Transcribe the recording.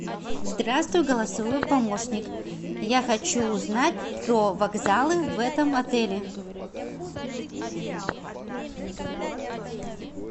здравствуй голосовой помощник я хочу узнать про вокзалы в этом отеле